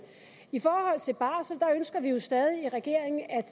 i forhold til barsel ønsker vi jo stadig i regeringen at